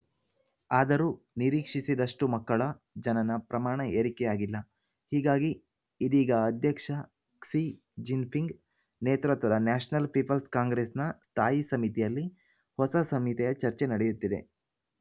ಆದರೂ ನಿರೀಕ್ಷಿಸಿದಷ್ಟುಮಕ್ಕಳ ಜನನ ಪ್ರಮಾಣ ಏರಿಕೆಯಾಗಿಲ್ಲ ಹೀಗಾಗಿ ಇದೀಗ ಅಧ್ಯಕ್ಷ ಕ್ಸಿ ಜಿನ್‌ಪಿಂಗ್‌ ನೇತೃತ್ವದ ನ್ಯಾಶನಲ್‌ ಪೀಪಲ್ಸ್‌ ಕಾಂಗ್ರೆಸ್‌ನ ಸ್ಥಾಯಿ ಸಮಿತಿಯಲ್ಲಿ ಹೊಸ ಸಂಹಿತೆಯ ಚರ್ಚೆ ನಡೆಯುತ್ತಿದೆ